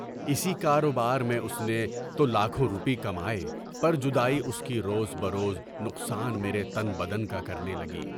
اِسی کاروبار میں اُس نے تو لاکھوں روپے کمائے، پر جدائی اُس کی روز بروز نقصان میرے تن بدن کا کرنے لگی۔